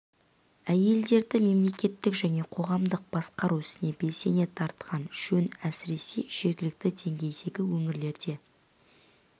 әйелдерді мемлекеттік және қоғамдық басқару ісіне белсене тартқан жөн әсіресе жергілікті деңгейдегі өңірлерде